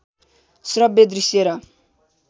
श्रब्य दृश्य र